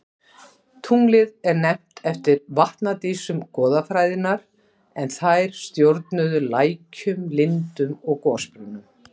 Tunglið er nefnt eftir vatnadísum goðafræðinnar en þær stjórnuðu lækjum, lindum og gosbrunnum.